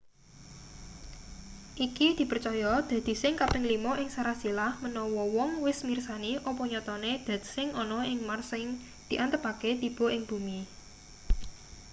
iki dipercaya dadi sing kaping lima ing sarasilah manawa wong wis mirsani apa nyatane dat sing ana ing mars sing diantepake tiba ing bumi